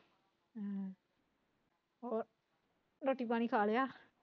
ਹੋਰ ਰੋਟੀ ਪਾਣੀ ਖਾ ਲਿਆ